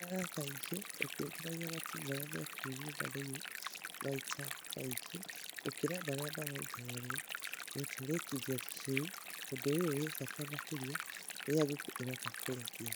Ikaraga kaingĩ ũkĩũnganagia matumbĩ marĩa me kũu nyũmba thĩ , maita maingĩ gũkĩra marĩa marongoreirio gũtũrĩkithio tũcui, ũndũ ũrĩa wĩ bata makĩria rĩrĩa ngũkũ iroka kũrekia.